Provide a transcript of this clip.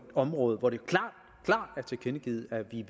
område hvor det klart er tilkendegivet at vi